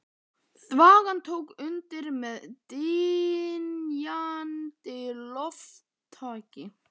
Þvagan tók undir með dynjandi lófataki.